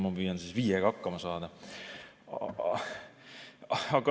Ma püüan viiega hakkama saada.